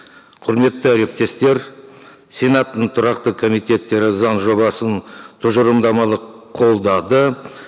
құрметті әріптестер сенаттың тұрақты комитеттері заң жобасын тұжырымдамалы қолдады